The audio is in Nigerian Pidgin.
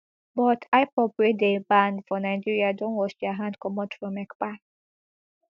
but ipob wey dey banned for nigeria don wash dia hand comot from ekpa